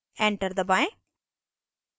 enter दबाएं